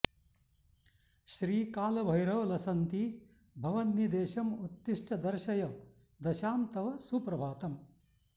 श्रीकालभैरव लसन्ति भवन्निदेशं उत्तिष्ट दर्शय दशां तव सुप्रभातम्